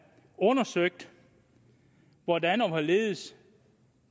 undersøgt hvordan og hvorledes